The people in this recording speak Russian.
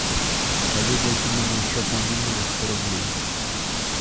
салют закинь на мой счет мобильного сто рублей